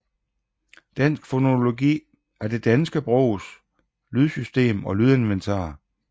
Dansk fonologi er det danske sprogs lydsystem og lydinventar